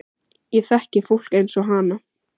Ég þekki fólk eins og hana.